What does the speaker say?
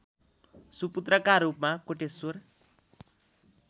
सुपुत्रका रूपमा कोटेश्वर